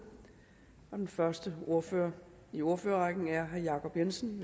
den første ordfører i ordførerrækken er herre jacob jensen